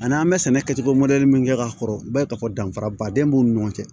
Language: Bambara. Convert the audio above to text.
Ani an bɛ sɛnɛ kɛcogo mɔdɛli min kɛ ka kɔrɔ i b'a ye k'a fɔ danfara baden b'u ni ɲɔgɔn cɛ